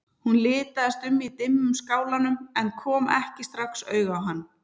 Hún litaðist um í dimmum skálanum en kom ekki strax auga á hann.